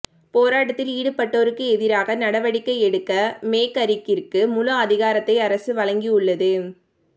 போராட்டத்தில் ஈடுபட்டோருக்கு எதிராக நடவடிக்கை எடுக்க மேகரிக்கிற்கு முழு அதிகாரத்தை அரசு வழங்கியுள்ளது